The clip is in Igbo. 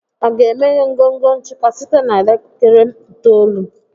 a ga-emeghe ngọngọ nchịkwa site na elekere itoolu?